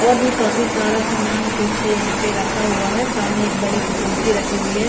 और भी काफी सारा सामान पीछे यहां पे रखा हुआ है सामने एक बड़ी सी कुर्सी रखी हुई है ।